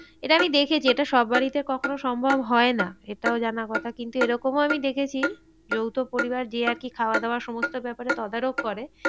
এটা আমি দেখেছি এটা সব বাড়িতে কখনো সম্ভব হয় না। এটাও জানা কথা কিন্তু এরকমও আমি দেখেছি। যৌথ পরিবার যে আর কি খাওয়া দাওয়া সমস্ত ব্যাপারে তদারপ করে।